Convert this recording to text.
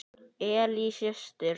Ellý systir.